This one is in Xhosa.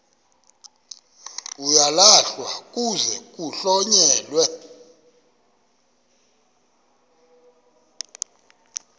uyalahlwa kuze kuhlonyelwe